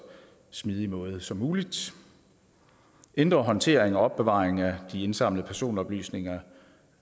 smidigt som muligt ændret håndtering og opbevaring af de indsamlede personoplysninger